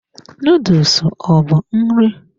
Noodles ọ bụ nri?